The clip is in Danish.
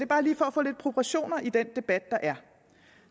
bare lige for at få lidt proportioner ind i den debat der er